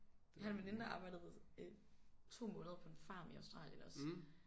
Jeg har en veninde der arbejdede øh 2 måneder på en farm i Australien også